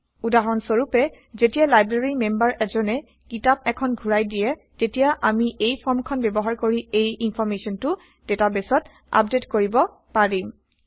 উদাহৰণ স্বৰূপে যেতিয়া লাইব্ৰেৰী মেম্বাৰ এজনে কিতাপ এখন ঘূৰাই দিয়ে তেতিয়া আমি এই ফৰ্ম খন ব্যৱহাৰ কৰি এই ইনফৰ্মেশ্যনটো ডেটাবেইছত আপডেইট কৰিব পাৰিম